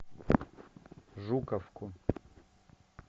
жуковку